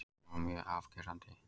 Hann var mjög afgerandi.